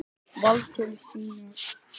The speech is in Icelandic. Vald til synjunar laga.